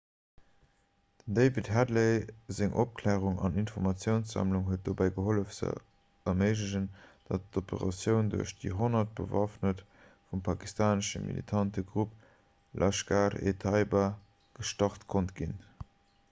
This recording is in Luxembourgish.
dem david headley seng opklärung an informatiounssammlung huet dobäi gehollef ze erméiglechen datt d'operatioun duerch déi 10 bewaffneter vum pakistanesche militante grupp laskhar-e-taiba gestart konnt ginn